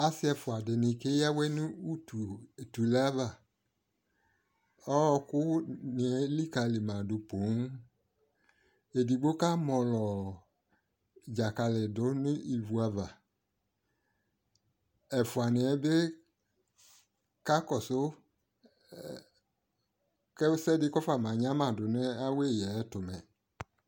Asɩ ɛfʊa dɩnɩ keya awɛ nʊ utuleava ɔkʊnɩ elikali madʊ poo edigbo kamɔlɔ dzakali dʊ nʊ ɩvʊava ɛfʊanɩyɛ bɩ kakɔsʊ mɛ ɛkʊɛdɩ kafamanyama dʊ nʊ awɛya yɛ ayʊ ɛtʊ mɛ